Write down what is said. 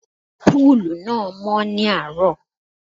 Púùlù náà mọ́ ní àárọ̀.